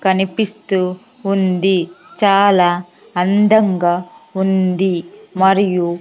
కనిపిస్తూ ఉంది చాలా అందంగా ఉంది మరియు--